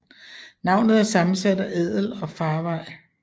Navnet er sammensat af adel og farvej